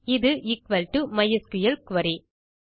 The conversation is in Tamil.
இது எக்குவல் டோ மைஸ்குல் குரி